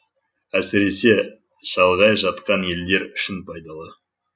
әсіресе шалғай жатқан елдер үшін пайдалы